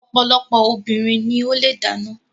Ọ̀pọ̀lọpọ̀ obìnrin ló le dáná.